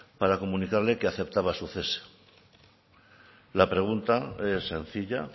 para comunicarle que aceptaba su cese la pregunta es sencilla